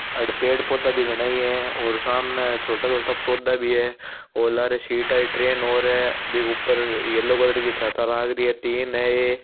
आड़े पेड़ पौधा भी घणा ही है और सामने छोटा छोटा पौधा भी है लारे सीट आरी ट्रेन और है बी के ऊपर येलो कलर की छत लाग री तीन है ये --